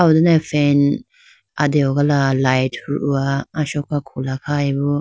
aw done fan adehogala light huhowa asoka khula khayi bo.